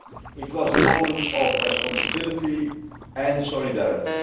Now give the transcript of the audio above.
It was a moment of responsibility and solidarity.